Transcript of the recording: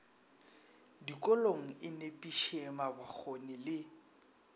dikolong e nepiše mabokgone le